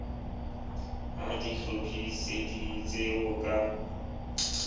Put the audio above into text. ha di hlophiseditswe ho ka